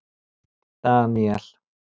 Daníel